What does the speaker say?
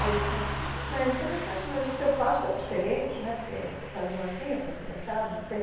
Aí disseram, ah, mas é interessante, mas o teu passo é diferente né, porque faziam assim ou faziam assado, não sei.